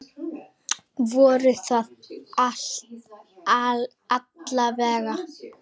Voru það alla vega.